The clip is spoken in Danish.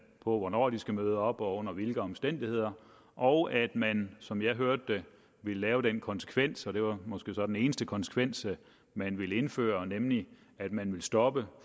hvornår de skal møde op og under hvilke omstændigheder og at man som jeg hørte det vil lave den konsekvens og det var måske så den eneste konsekvens man ville indføre nemlig at man vil stoppe